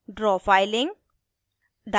draw filing